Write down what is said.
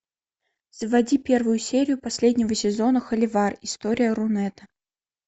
заводи первую серию последнего сезона холивар история рунета